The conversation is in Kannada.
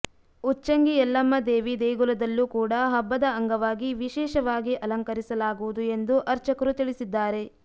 ಉಚ್ಚಂಗಿ ಯಲ್ಲಮ್ಮ ದೇವಿ ದೇಗುಲದಲ್ಲೂ ಕೂಡ ಹಬ್ಬದ ಅಂಗವಾಗಿ ವಿಶೇಷವಾಗಿ ಅಲಂಕರಿಸಲಾಗುವುದು ಎಂದು ಅರ್ಚಕರು ತಿಳಿಸಿದ್ದಾರೆ